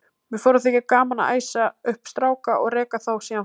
Mér fór að þykja gaman að æsa upp stráka og reka þá síðan frá mér.